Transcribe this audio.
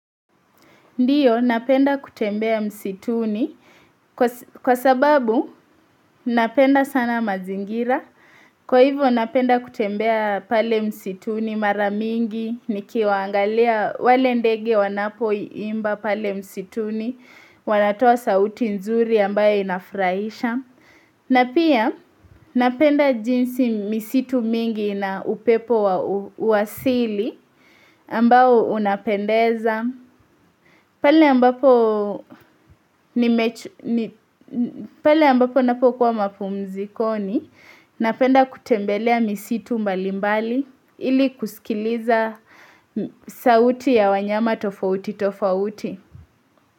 Ndiyo napenda kutembea msituni kwa sababu napenda sana mazingira. Kwa hivyo napenda kutembea pale msituni mara mingi, nikiangalia wale ndege wanapoimba pale msituni, wanatoa sauti nzuri ambayo inafraisha. Na pia napenda jinsi misitu mingi na upepo wa asili ambao unapendeza. Pale ambapo napokuwa mapumzikoni napenda kutembelea misitu mbalimbali ili kusikiliza sauti ya wanyama tofauti tofauti.